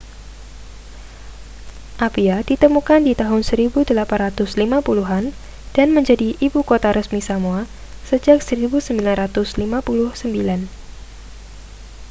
apia ditemukan di tahun 1850-an dan menjadi ibu kota resmi samoa sejak 1959